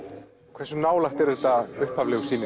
hversu nálægt er þetta upphaflegu sýninni